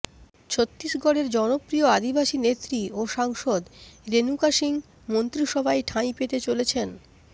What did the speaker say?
ছত্তিশগড়ের জনপ্রিয় আদিবাসী নেত্রী ও সাংসদ রেণুকা সিং মন্ত্রিসভায় ঠাঁই পেতে চলেছেন